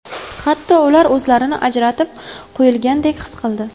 Hatto ular o‘zlarini ajratib qo‘yilgandek his qildi.